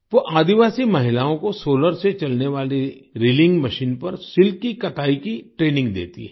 वो आदिवासी महिलाओं को सोलार से चलने वाली रीलिंग मशीन पर सिल्क की कताई की ट्रेनिंग देती हैं